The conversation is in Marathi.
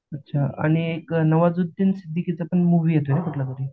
अच्छा आणि नवाजुद्दीन सिद्दिकी चा पण मूवी येतोय कुठलातरी